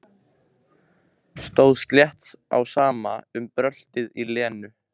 Stóð slétt á sama um bröltið í Lenu.